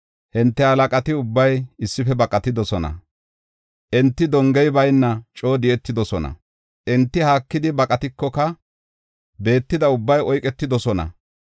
Hinte halaqati ubbay issife baqatidosona; enti dongey bayna coo di7etidosona. Enti haakidi baqatikoka betida ubbay oyketidosona.